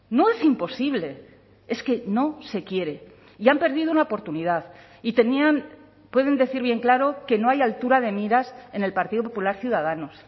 no es imposible es que no se quiere y han perdido una oportunidad y tenían pueden decir bien claro que no hay altura de miras en el partido popular ciudadanos